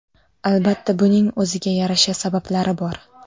Albatta, buning o‘ziga yarasha sabablari bor.